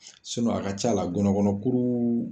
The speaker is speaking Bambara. a ka ca la gɔnɔ kɔnɔ kuru